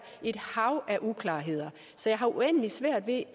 et hav af uklarheder så jeg har uendelig svært ved